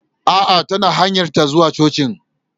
Aa, tana hanyarta ta zuwa cocin